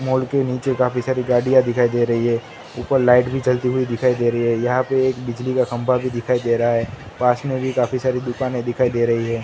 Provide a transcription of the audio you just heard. Mall के नीचे काफी सारी गाड़ियां दिखाई दे रही है ऊपर लाइट भी चलती हुई दिखाई दे रही है यहां पे एक बिजली का खंबा भी दिखाई दे रहा है पास में काफी सारे दुकान दिखाई दे रही है।